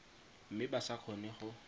mme ba sa kgone go